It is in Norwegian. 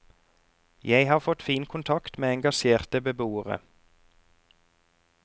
Jeg har fått fin kontakt med engasjerte beboere.